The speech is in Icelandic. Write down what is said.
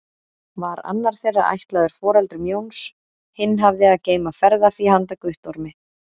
Var annar þeirra ætlaður foreldrum Jóns, hinn hafði að geyma ferðafé handa Guttormi.